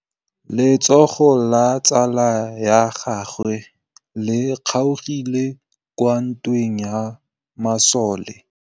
Letsôgô la tsala ya gagwe le kgaogile kwa ntweng ya masole.